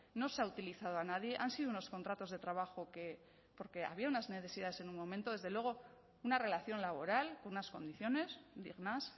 no se ha utilizado a nadie han sido unos contratos de trabajo porque había unas necesidades en un momento desde luego una relación laboral con unas condiciones dignas